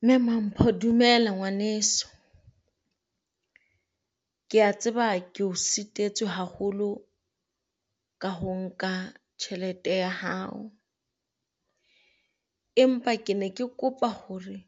Mme mampho dumela ngwaneso kea tseba ke ho sitetswe haholo ka ho nka tjhelete ya hao. Empa ke ne ke kopa hore